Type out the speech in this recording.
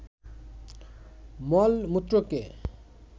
মল-মূত্রকে